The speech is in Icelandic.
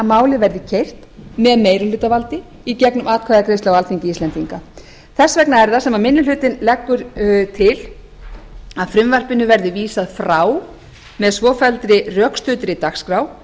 málið verði keyrt með meirihlutavaldi í gegnum atkvæðagreiðslu á alþingi þess vegna er það sem minni hlutinn leggur til að frumvarpinu verði vísað frá með svofelldri rökstuddri dagskrá